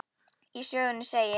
Í sögunni segir: